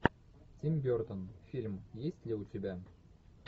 тим бертон фильм есть ли у тебя